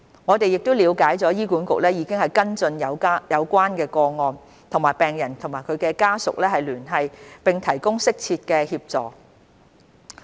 我們了解醫管局已跟進有關個案，與病人或其家屬聯繫，並提供適切的協助。